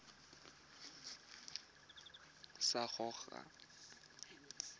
sa gago sa irp it